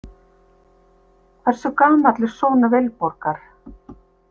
Hversu gamall er sonur Vilborgar?